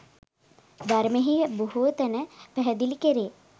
ධර්මයෙහි බොහෝ තැන පැහැදිලි කෙරේ.